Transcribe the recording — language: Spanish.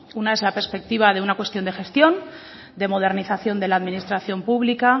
una es la perspectiva de una cuestión de gestión de modernización de la administración pública